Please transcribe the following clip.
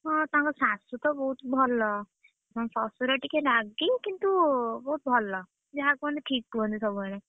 ହଁ ତାଙ୍କ ଶାଶୁ ତ ବହୁତ ଭଲ। ତାଙ୍କ ଶଶୁର ଟିକେ ରାଗି କିନ୍ତୁ ବହୁତ ଭଲ। ଯାହା କୁହନ୍ତି ଠିକ୍ କୁହନ୍ତି ସବୁବେଳେ।